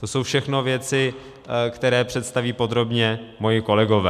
To jsou všechno věci, které představí podrobně moji kolegové.